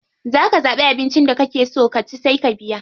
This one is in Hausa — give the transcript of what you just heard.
Za ka zaɓi abinci da kake so ka ci sai ka biya.